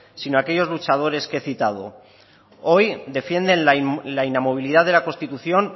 sino aquellos luchadores que he citado hoy defienden la inamovilidad de la constitución